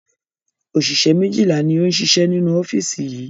Òṣìṣẹ́ méjìlá ni ó ń ṣiṣẹ́ nínú ọ́fíìsì yìí